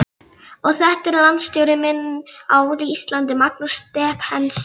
Og þetta er landsstjóri minn á Íslandi, Magnús Stephensen.